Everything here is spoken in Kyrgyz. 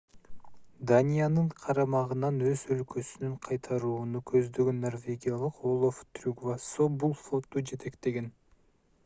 даниянын карамагынан өз өлкөсүн кайтарууну көздөгөн норвегиялык олаф трюгвассо бул флотту жетектеген